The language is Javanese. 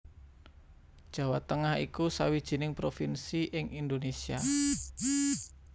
Jawa Tengah iku sawijining provinsi ing Indonésia